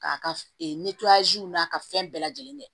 K'a ka n'a ka fɛn bɛɛ lajɛlen kɛ